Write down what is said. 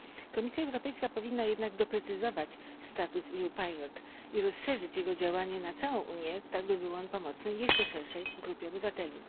Komisja Europejska powinna jednak doprecyzować status EU pilot i rozszerzyć jego działanie na całą Unię, tak by był on pomocny jeszcze szerszej grupie obywateli.